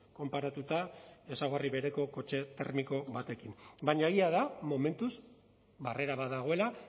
konparatuta ezaugarri bereko kotxe termiko batekin baina egia da momentuz barrera bat dagoela